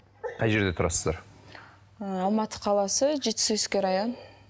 қай жерде тұрасыздар ы алматы қаласы жетісуский район